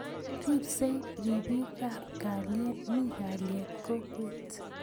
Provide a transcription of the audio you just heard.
Ribsei ripikab kalyet, mi kalyet kokwet